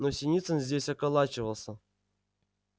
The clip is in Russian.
но синицын здесь околачивался